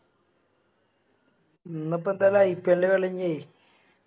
ഇന്നിപ്പെന്താ IPL ൻറെ കളി കയിഞ്ഞെ